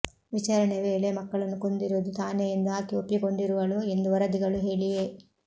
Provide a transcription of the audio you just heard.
ವಿಚಾರಣೆ ವೇಳೆ ಮಕ್ಕಳನ್ನು ಕೊಂದಿರುವುದು ತಾನೇ ಎಂದು ಆಕೆ ಒಪ್ಪಿಕೊಂಡಿರುವಳು ಎಂದು ವರದಿಗಳು ಹೇಳಿವೆ